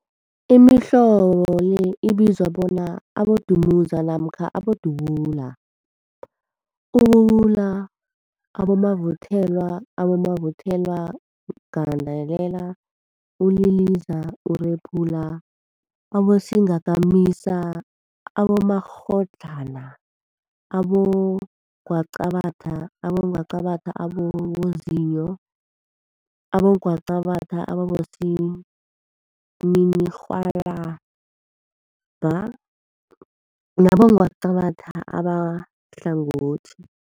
Imihlobo le ibizwa bona, abodumuza namkha abodubula, ububula, abomavuthelwa, abomavuthelwagandelela, uliliza, urephula, abosingakamisa, abomakghadlana, abongwaqabathwa, abongwaqabathwa ababozinyo, abongwaqabathwa abosininirhwalabha nabongwaqabatha abahlangothi.